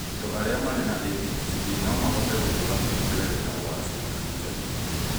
andũ arĩa marĩ na ADHD no mahote gũtũra mũtũrĩre wĩna ũgacĩru na gĩkeno